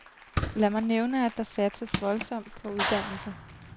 Lad mig nævne, at der satses voldsomt på uddannelse.